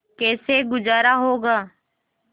कैसे गुजारा होगा